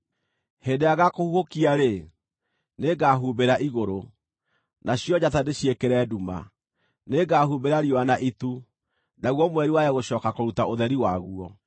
Hĩndĩ ĩrĩa ngaakũhuhũkia-rĩ, nĩngahumbĩra igũrũ, nacio njata ndĩciĩkĩre nduma; nĩngahumbĩra riũa na itu, naguo mweri wage gũcooka kũruta ũtheri waguo.